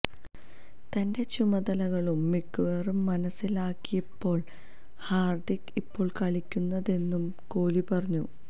തന്റെ ചുമതലകളും മികവും മനസിലാക്കിയാണിപ്പോള് ഹാര്ദിക് ഇപ്പോള് കളിക്കുന്നതെന്നും കോലി പറഞ്ഞു